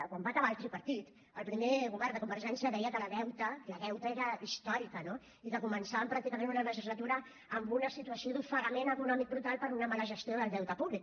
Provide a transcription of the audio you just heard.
quan va acabar el tripartit el primer govern de convergència deia que el deute el deute era històric no i que començàvem pràcticament una legislatura en una situació d’ofegament econòmic brutal per una mala gestió del deute públic